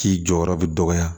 K'i jɔyɔrɔ bi dɔgɔya